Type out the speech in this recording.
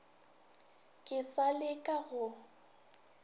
ke sa le ka go